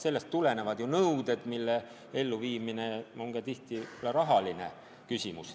Rangete nõuete elluviimine on tihti ka rahaline küsimus.